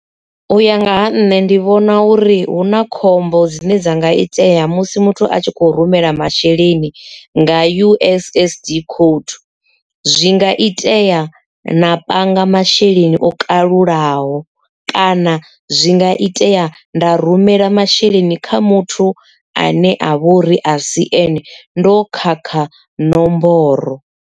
U ya nga ha nṋe ndi vhona uri hu na khombo dzine dza nga itea musi muthu a tshi kho rumela masheleni nga U_S_S_D code zwi nga itea na panga masheleni o kalulaho kana zwi nga itea nda rumela masheleni kha muthu ane a vha uri a si ane ndo khakha nomboro.